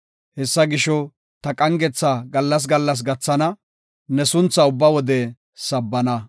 Hessa gisho ta qangetha gallas gallas gathana; ne sunthaa ubba wode sabbana.